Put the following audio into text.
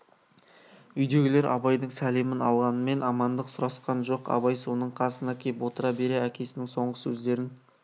үйдегілер абайдың сәлемін алғанмен амандық сұрасқан жоқ абай соның қасына кеп отыра бере әкесінің соңғы сөздерін